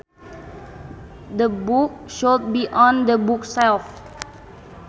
The book should be on the bookshelf